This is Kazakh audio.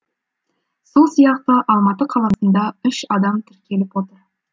сол сияқты алматы қаласында үш адам тіркеліп отыр